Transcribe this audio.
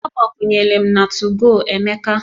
Agbakwunyela m na 2go Emeka